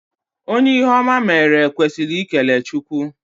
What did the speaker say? Onye ihe oma meere kwesịrị ikele Chukwu